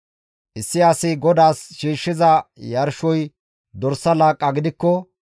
Issi asi GODAAS shiishshiza yarshoy dorsa laaqqa gidikko,